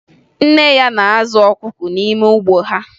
Nne ya na-azụ ọkụkọ n'ime ugbo ha